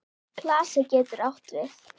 Klasi getur átt við